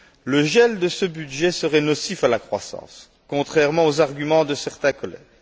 Le gel de ce budget serait nocif à la croissance, contrairement aux arguments de certains collègues.